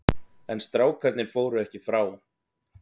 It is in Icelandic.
En strákarnir fóru ekki frá.